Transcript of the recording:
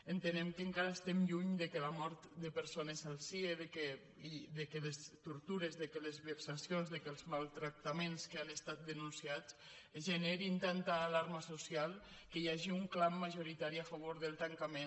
entenem que encara estem lluny que la mort de per·sones al cie que les tortures que les vexacions que els maltractaments que han estat denunciats generin tanta alarma social que hi hagi un clam majoritari a favor del tancament